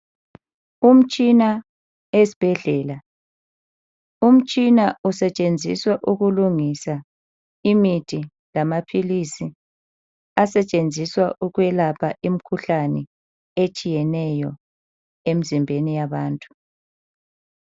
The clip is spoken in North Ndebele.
Umtshina esbhedlela, umtshina usetshenziswa ukulungisa imithi lamaphilisi asetshenziswa ukuyelapha imikhuhlane etshiyeneyo emzimbeni yabantu.